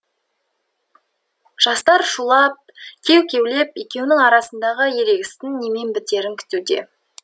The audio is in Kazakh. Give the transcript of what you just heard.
жастар шулап кеу кеулеп екеуінің арасындағы ерегістің немен бітерін күтуде